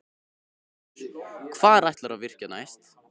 Magnús: Hvar ætlarðu að virkja næst?